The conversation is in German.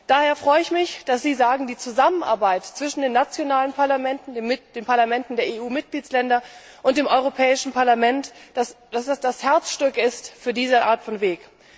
Daher freue ich mich, dass Sie sagen, die Zusammenarbeit zwischen den nationalen Parlamenten, den Parlamenten der EU Mitgliedstaaten und dem Europäischen Parlament sei das Herzstück für diese Art von Weg.